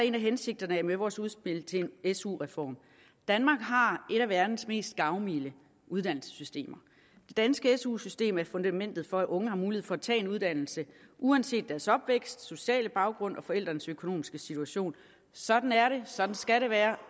en af hensigterne med vores udspil til en su reform danmark har et af verdens mest gavmilde uddannelsessystemer det danske su system er fundamentet for at unge har mulighed for at tage en uddannelse uanset deres opvækst og sociale baggrund og forældrenes økonomiske situation sådan er det sådan skal det være